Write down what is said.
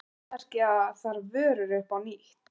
Verðmerkja þarf vörur upp á nýtt.